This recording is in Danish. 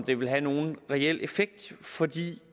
det vil have nogen reel effekt fordi